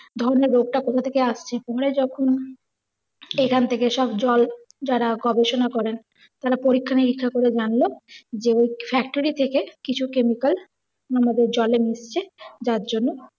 রোগ টা কোথা থেকে আসছে। পরে যখন এখান থেকে সব জল জারা গবেষণা করেন তারা পরীক্ষা নিরীক্ষা করে জানল যে factory থেকে কিছু chemical ওনাদের জলে মিশছে জার জন্য